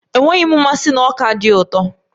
Enweghị m mmasị na ọka dị ụtọ.